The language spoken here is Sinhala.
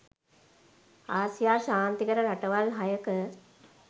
ආසියා ශාන්තිකර රටවල් හයක